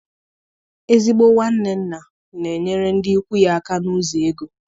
Ezigbo nwanne nna na-enyere ndị ikwu ya aka n'ụzọ ego.